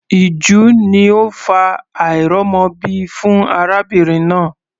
Ìju ni ó ń fa àìrọ́mọbí fún arábìnrin náà.